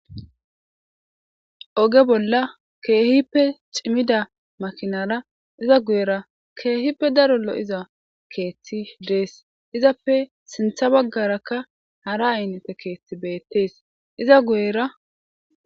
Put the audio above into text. oge bolla ke'ihippe ciimidda makinara iza guyera ke'ihippe daro lo'iza keeththi dees izappe sinththa baggarakka hara aynate keeththi bettees iza guyera